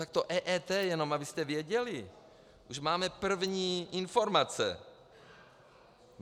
Tak to EET jenom, abyste věděli, už máme první informace.